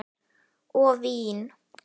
Og vín.